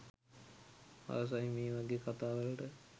ආසයි මේ වගේ කතා වලට